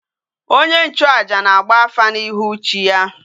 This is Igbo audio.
Onye nchu aja na agba afa na ihu chi ya